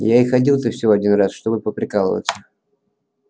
я и ходил-то всего один раз чтобы поприкалываться